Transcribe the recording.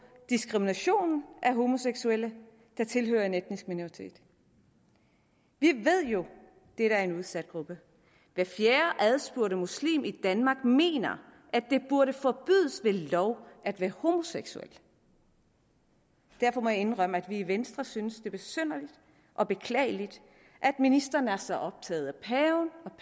diskriminationen af homoseksuelle der tilhører en etnisk minoritet vi ved jo at det er en udsat gruppe hver fjerde adspurgte muslim i danmark mener at det burde forbydes ved lov at være homoseksuel derfor må jeg indrømme at vi i venstre synes det er besynderligt og beklageligt at ministeren er så optaget